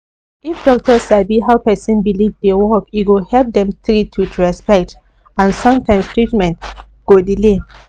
if doctor sabi how person belief dey work e go help dem treat with respect and sometimes treatment go delay